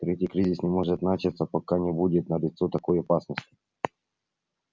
третий кризис не может начаться пока не будет налицо такой опасности